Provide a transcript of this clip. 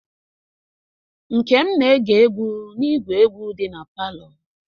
Nkem na-ege egwu n'igwe egwu di na palọ.